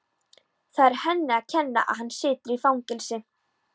Það er henni að kenna að hann situr í fangelsi.